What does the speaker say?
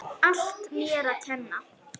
Allt mér að kenna.